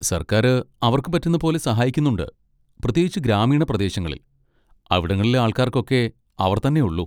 സർക്കാര് അവർക്ക് പറ്റുന്ന പോലെ സഹായിക്കുന്നുണ്ട്, പ്രത്യേകിച്ച് ഗ്രാമീണ പ്രദേശങ്ങളിൽ, അവിടങ്ങളിലെ ആൾക്കാർക്കൊക്കെ അവർ തന്നെ ഉള്ളൂ.